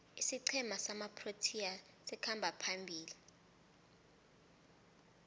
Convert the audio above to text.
isiqhema samaproteas sikhamba phambili